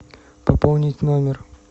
пополнить номер